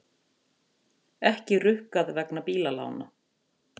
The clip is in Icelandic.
Ekki rukkað vegna bílalána